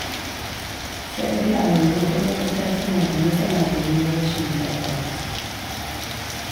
Sai dai a yanzu kuɗin wuta suna da matsala domin rashin tabbas.